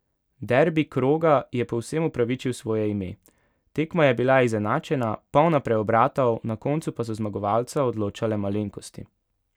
Derbi kroga je povsem upravičil svoje ime, tekma je bila izenačena, polna preobratov, na koncu pa so zmagovalca odločale malenkosti.